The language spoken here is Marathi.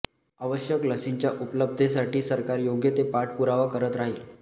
आवश्यक लसींच्या उपलब्धतेसाठी सरकार योग्य ते पाठपुरावा करत राहील